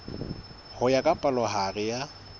ho ya ka palohare ya